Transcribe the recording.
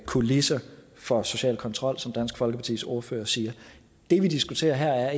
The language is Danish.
kulisser for social kontrol som dansk folkepartis ordfører siger det vi diskuterer her er